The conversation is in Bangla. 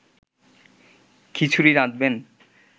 খিচুড়ি রাঁধবেন